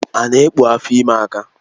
Ana ekpu afọ ime aka?